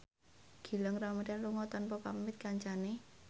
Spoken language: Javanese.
Gilang Ramadan lunga tanpa pamit kancane